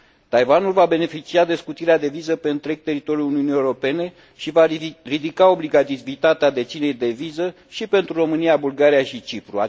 Taiwanul va beneficia de scutirea de viză pe întreg teritoriul Uniunii Europene și va ridica obligativitatea deținerii de viză și pentru România, Bulgaria și Cipru.